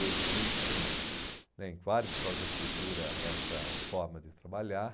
Hoje existe um, né, em várias escolas de arquitetura, essa forma de trabalhar.